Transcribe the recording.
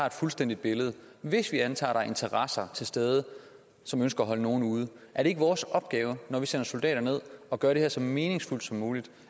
et fuldstændigt billede hvis vi antager at der er interesser til stede som ønsker at holde nogle ude er det ikke vores opgave når vi sender soldater derned at gøre det her så meningsfuldt som muligt